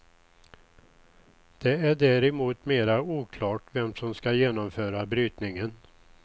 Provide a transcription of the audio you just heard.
Det är däremot mera oklart vem som skall genomföra brytningen.